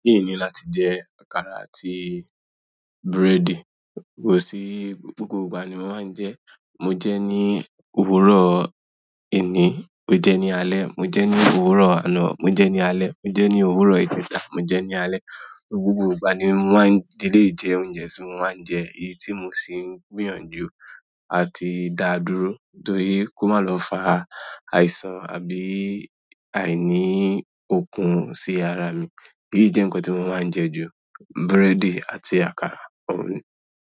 Kí ni láti jẹ àkàrà àti búrẹ́dì. Kò sí, gbogbo ìgbà ni mo máa ń jẹẹ́. Mo jẹẹ́ ní òwúrọ̀ èní, mo jẹẹ́ ní alẹ́, mo jẹẹ́ ní òwúrọ̀ àná, mo jẹẹ́ ní alẹ́, mo jẹẹ́ ní òwúrọ̀ ìjẹta, mo jẹẹ́ ní alẹ́. Gbogbo ìgbà ni mo máa ń, eléyìí jẹ́ oúnjẹ tí mo máa ń jẹ, èyí tí mo sì ń gbìyànjú àti dáa dúró, torí kó má lọ fa àìsàn àbí àìní okun sí ara mi. Èyí jẹ́ nǹkan tí mo máa ń jẹ ju. Búrẹ́dì àti àkàrà òun.